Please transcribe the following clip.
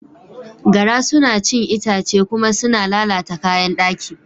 Gara suna cin itace kuma suna lalata kayan daki.